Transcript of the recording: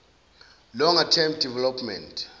longer term development